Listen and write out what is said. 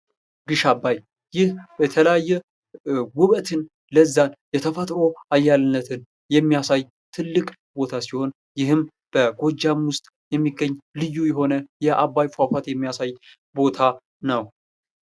ግሽ አባይ ይህ በተለያየ ዉበትን፣ ለዛን ፣የተፈጥሮ አያልነትን የሚያሳይ ትልቅ ቦታ ሲሆን ይህም በጎጃም ውስጥ የሚገኝ ልዩ የሆነ የአባይ ፏፏቴ የሚያሳይ ቦታ ነው።